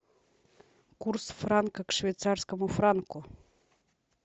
курс франка к швейцарскому франку